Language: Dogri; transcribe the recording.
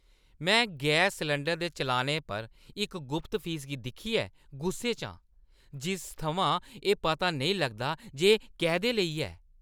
में गैस सलैंडरै दे चलानै पर इक गुप्त फीसा गी दिक्खियै गुस्से च आं, जिस थमां एह् पता नेईं लगदा जे एह् कैह्दे लेई ऐ।